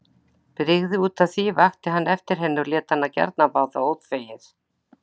Brygði útaf því, vakti hann eftir henni og lét hana gjarna fá það óþvegið.